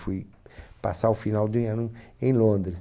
Fui passar o final de ano em Londres.